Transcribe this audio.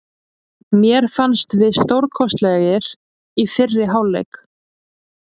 Mér fannst við stórkostlegir í fyrri hálfleik.